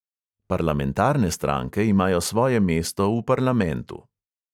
Parlamentarne stranke imajo svoje mesto v parlamentu.